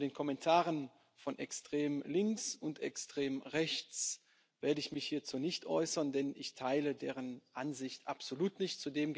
Zu den Kommentaren von extrem links und extrem rechts werde ich mich nicht äußern, denn ich teile deren Ansicht absolut nicht.